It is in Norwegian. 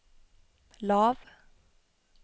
lav